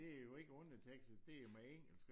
Og det jo ikke undertekster det jo med engelsk